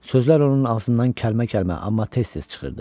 Sözlər onun ağzından kəlmə-kəlmə, amma tez-tez çıxırdı.